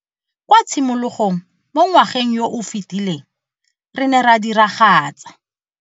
Kwa tshimologong mo ngwageng yo o fetileng re ne ra diragatsa.